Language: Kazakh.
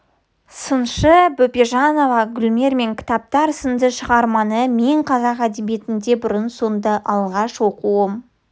сыншы бөпежанова гүлдер мен кітаптар сынды шығарманы мен қазақ әдебиетінде бұрын-соңды алғаш оқуым